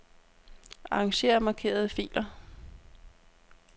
Arranger markerede filer.